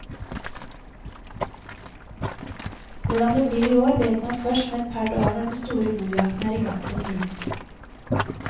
Hvordan det blir i år, vet man først om et par dager når den store bokjakten er i gang for fullt.